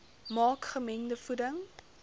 maak gemengde voeding